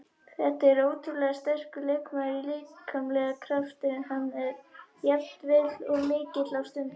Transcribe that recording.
Þetta er ótrúlega sterkur leikmaður líkamlega, kraftur hans er jafnvel of mikill á stundum.